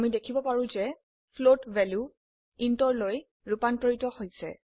আমি দেখিব পাৰো যে ফ্লোট ভ্যালু intৰ লৈ ৰুপান্তৰিত হৈছে